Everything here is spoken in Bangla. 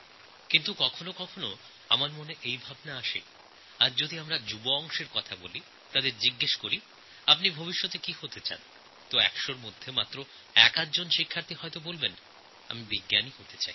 কিন্তু কখনও কখনও ভাবি আজ আমরা যখন যুব প্রজন্মের সঙ্গে কথা বলি এবং জানতে চাই তাঁরা ভবিষ্যতে কি হতে চান সেক্ষেত্রে একশো জনের মধ্যে একআধজন বিদ্যার্থী পাওয়া যায় যাঁরা বলেন আমি বৈজ্ঞানিক হতে চাই